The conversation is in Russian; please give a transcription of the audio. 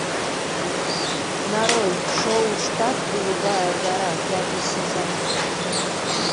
нарой шоу штат голубая гора пятый сезон